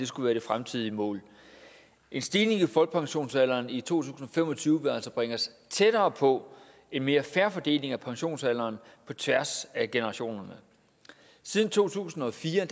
skulle være det fremtidige mål en stigning i folkepensionsalderen i to tusind og fem og tyve vil altså bringe os tættere på en mere fair fordeling af pensionsalderen på tværs af generationerne siden to tusind og fire